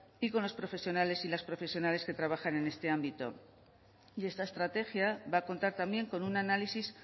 y con los profesionales y las profesionales que trabajan en este ámbito y esta estrategia va a contar también con un análisis